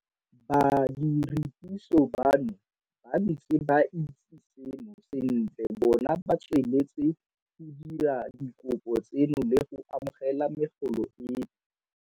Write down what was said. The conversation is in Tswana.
Badiredipuso bano ba ntse ba itse seno sentle bona ba tsweletse go dira dikopo tseno le go amogela megolo eno.